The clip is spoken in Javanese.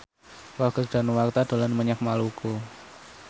Roger Danuarta dolan menyang Maluku